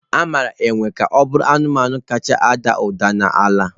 Amara enwe ka ọ bụ anụmanụ kacha ada ụda n'ala.